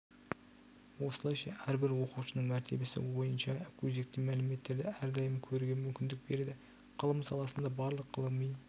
осылайша әрбір оқушының мәртебесі бойынша өзекті мәліметтерді әрдайым көруге мүмкіндік береді ғылым саласында барлық ғылыми